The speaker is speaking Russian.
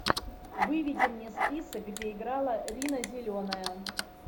выведи мне список где играла рина зеленая